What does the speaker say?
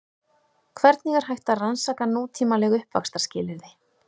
Hvernig er hægt að rannsaka nútímaleg uppvaxtarskilyrði?